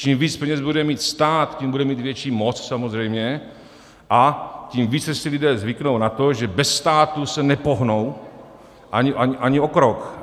Čím víc peněz bude mít stát, tím bude mít větší moc samozřejmě a tím více si lidé zvyknou na to, že bez státu se nepohnou ani o krok.